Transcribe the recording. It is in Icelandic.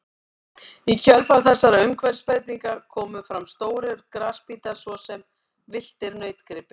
Í kjölfar þessara umhverfisbreytinga komu fram stórir grasbítar svo sem villtir nautgripir.